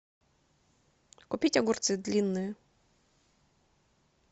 купить огурцы длинные